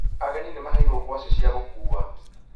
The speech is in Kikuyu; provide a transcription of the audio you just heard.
Ageni nĩmaheirwo ngwacĩ cia gũkua